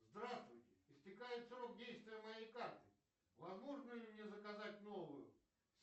здравствуйте истекает срок действия моей карты возможно ли мне заказать новую